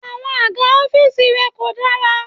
Àwọn àga ọ́fíìsì rẹ kò dára.